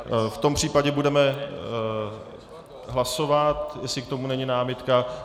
V tom případě budeme hlasovat, jestli k tomu není námitka.